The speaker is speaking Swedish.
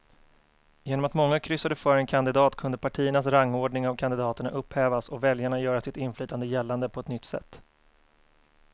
Genom att många kryssade för en kandidat kunde partiernas rangordning av kandidaterna upphävas och väljarna göra sitt inflytande gällande på ett nytt sätt.